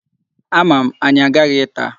Ama m, anyị aghaghị ịta.